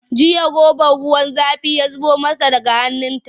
Jiya robar ruwa zafi ya suɓuce daga hannunta.